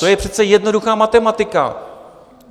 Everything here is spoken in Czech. To je přece jednoduchá matematika.